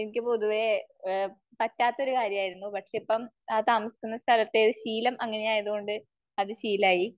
എനിക്ക് പൊതുവെ പറ്റാത്ത ഒരു കാര്യമായിരുന്നു. പക്ഷേ ഇപ്പം ആ താമസിക്കുന്ന സ്ഥലത്തെ ശീലം അങ്ങനെ ആയത് കൊണ്ട് അത് ശീലമായി.